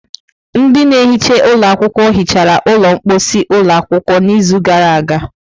Ndị na-ehicha ụlọ akwụkwọ hichara ụlọ mposi ụlọ akwụkwọ n'izu gara aga.